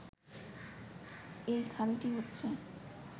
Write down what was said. এই খালটি হচ্ছে